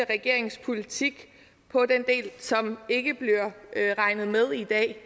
regerings politik på den del som ikke bliver regnet med i dag